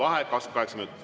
V a h e a e g